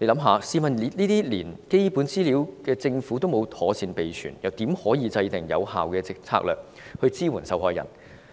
試想想，政府連這些基本資料也沒有妥善備存，又怎可制訂有效的策略來支援受害人？